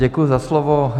Děkuji za slovo.